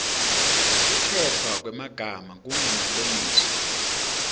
kukhetfwa kwemagama kungemalengiso